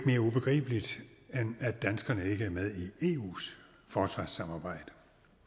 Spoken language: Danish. mere ubegribeligt end at danskerne ikke er med i eus forsvarssamarbejde